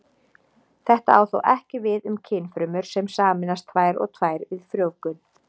Þetta á þó ekki við um kynfrumur sem sameinast tvær og tvær við frjóvgun.